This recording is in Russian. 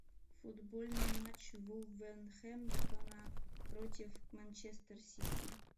футбольный матч вулверхэмптона против манчестер сити